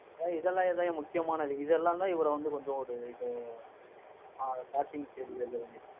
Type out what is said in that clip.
இதெல்லாம்தான்யா முக்கியமானது. இதெல்லாம்தான், இவரை வந்து கொஞ்சம் ஒரு ஆஹ் starting stage ல இது பண்ணிருக்கு